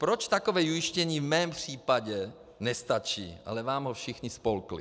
Proč takové ujištění v mém případě nestačí, ale vám ho všichni spolkli?